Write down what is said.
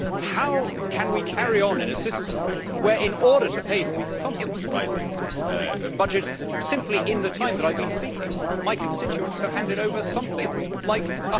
How can we carry on in a system where, in order to pay for these constantly rising budgets, simply in the time that I have been speaking my constituents have handed over something like GBP